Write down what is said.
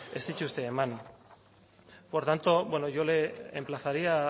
ez dituzte eman por tanto yo le emplazaría